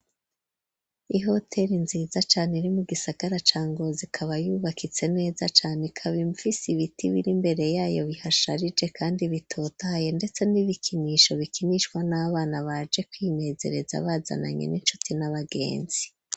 ihoteri nziza cane iri mu gisagara ca Ngozi ikaba yubakitse neza cane ikaba imfise ibiti biri mbere yayo bihasharije kandi bitotaye ndetse n'ibikinisho bikinishwa n'abana baje kwinezereza bazananye n'inchuti n'abagenzi.